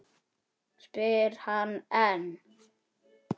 spyr hann enn.